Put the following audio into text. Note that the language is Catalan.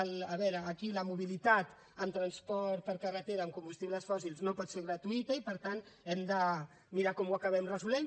a veure aquí la mobilitat en transport per carretera amb combustibles fòssils no pot ser gratuïta i per tant hem de mirar com ho acabem resolent